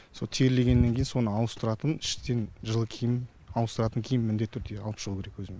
со терлегеннен кейін соны ауыстыратын іштен жылы киім ауыстыратын киім міндетті түрде алып шығу керек өзімен